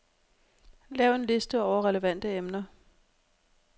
Lav en liste over relevante emner.